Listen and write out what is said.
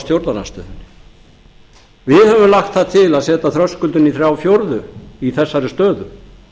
stjórnarandstöðunni við höfum lagt það til að setja þröskuldinn í þrjá fjórðu í þessari stöðu þrír fjórðu í þessari stöðu